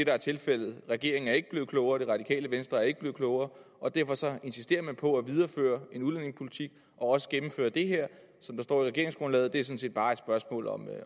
er tilfældet regeringen er ikke blevet klogere og det radikale venstre er ikke blevet klogere og derfor insisterer man på at videreføre den udlændingepolitik og også gennemføre det her som står i regeringsgrundlaget det set bare et spørgsmål om